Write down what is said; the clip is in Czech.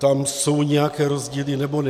Tam jsou nějaké rozdíly, nebo ne?